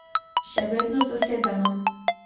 Še vedno zasedeno.